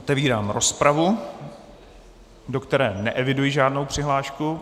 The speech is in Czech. Otevírám rozpravu, do které neeviduji žádnou přihlášku.